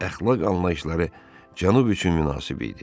Əxlaq anlayışları cənub üçün münasib idi.